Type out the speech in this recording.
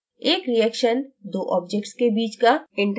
एक reaction दो objects के बीच का interaction है